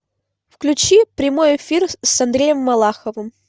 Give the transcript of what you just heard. включи прямой эфир с андреем малаховым